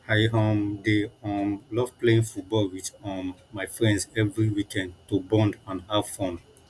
i um dey um love playing football with um my friends every weekend to bond and have fun